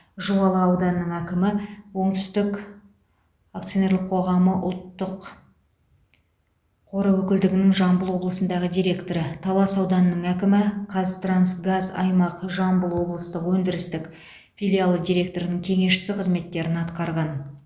жуалы ауданының әкімі оңтүстік акционерлік қоғамы ұлттық қоры өкілдігінің жамбыл облысындағы директоры талас ауданының әкімі қазтрансгаз аймақ жамбыл облыстық өндірістік филиалы директорының кеңесшісі қызметтерін атқарған